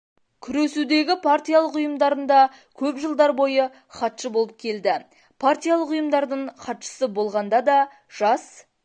күресудегі партиялық ұйымдарында көп жылдар бойы хатшы болып келді партиялық ұйымдардың хатшысы болғанда да жас